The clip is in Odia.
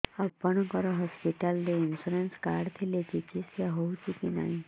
ଆପଣଙ୍କ ହସ୍ପିଟାଲ ରେ ଇନ୍ସୁରାନ୍ସ କାର୍ଡ ଥିଲେ ଚିକିତ୍ସା ହେଉଛି କି ନାଇଁ